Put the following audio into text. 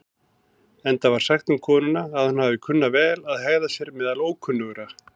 Enda var sagt um konuna að hún hafi kunnað vel að hegða sér meðal ókunnugra.